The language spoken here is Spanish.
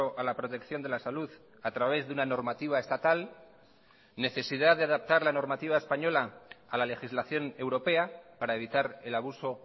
a la protección de la salud a través de una normativa estatal necesidad de adaptar la normativa española a la legislación europea para evitar el abuso